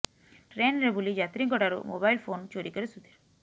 ଟ୍ରେନରେ ବୁଲି ଯାତ୍ରୀଙ୍କ ଠାରୁ ମୋବାଇଲ ଫୋନ ଚୋରି କରେ ସୁଧୀର